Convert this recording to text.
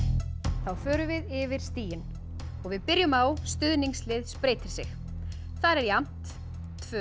þá förum við yfir stigin og við byrjum á stuðningslið spreytir sig þar er jafnt tvo